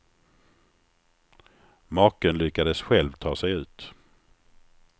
Maken lyckades själv ta sig ut.